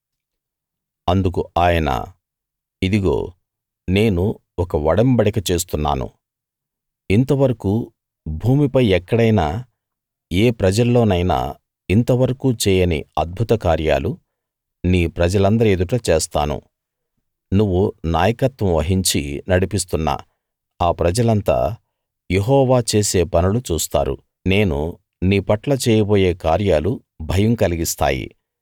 అందుకు ఆయన ఇదిగో నేను ఒక ఒడంబడిక చేస్తున్నాను ఇంతవరకూ భూమిపై ఎక్కడైనా ఏ ప్రజల్లోనైనా ఇంత వరకూ చేయని అద్భుత కార్యాలు నీ ప్రజలందరి ఎదుట చేస్తాను నువ్వు నాయకత్వం వహించి నడిపిస్తున్న ఆ ప్రజలంతా యెహోవా చేసే పనులు చూస్తారు నేను నీ పట్ల చేయబోయే కార్యాలు భయం కలిగిస్తాయి